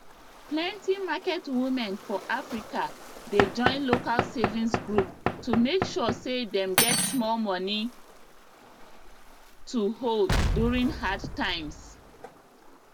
plenty market women for africa dey join local savings group to make sure say dem get small money to hold during hard times